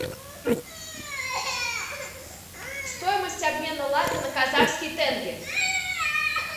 стоимость обмена лата на казахский тенге